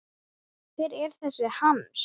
Hver er þessi Hans?